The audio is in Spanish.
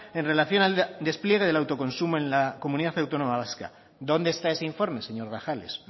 en relación al despliegue del autoconsumo en la comunidad autónoma vasca dónde está ese informe señor grajales